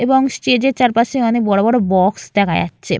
এবং স্টেজ এর চারপাশে অনেক বড়বড় বক্স দেখা যাচ্ছে।